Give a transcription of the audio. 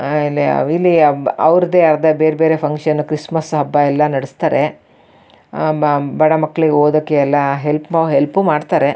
ಆಹ್ಹ್ ಇಲ್ಲಿ ಅವ್ರದ್ದೇ ಆದ ಬೇರೆ ಬೇರೆ ಫ್ಯಾಂಕ್ಷನ್ ಕ್ರಿಸ್ಮಸ್ ಹಬ್ಬ ಎಲ್ಲ ನಡೆಸ್ತಾರೆ ಬಡ ಮಕ್ಕಳಿಗೆ ಓದೋಕೆ ಎಲ್ಲ ಹೆಲ್ಪ್ ಮಾಡ್ತಾರೆ-